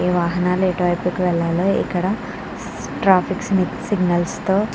ఈ వాహనాలు ఎటు వైపుకు వెళ్ళాలో ఇక్కడ ట్రాఫిక్ సిగ్నల్స్తో --